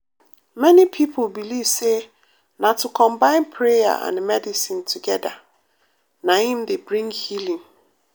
many people believe say na to combine prayer and medicine together na im dey bring healing.